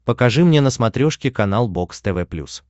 покажи мне на смотрешке канал бокс тв плюс